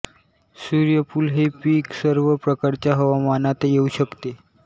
सूर्यफूल हे पीक सर्व प्रकारच्या हवामानांत येऊ शकते